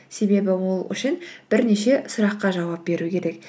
себебі ол үшін бірнеше сұраққа жауап беру керек